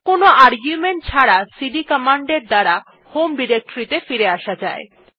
কোনো আর্গুমেন্ট ছাড়া CD command এর দ্বারা হোম ডিরেক্টরী ত়ে ফিরে আসা যায়